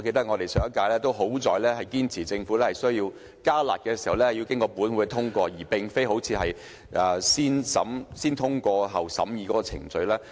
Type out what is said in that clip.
幸好上屆立法會堅持政府如要"加辣"，必須獲得本會通過，而非採用"先通過，後審議"的程序。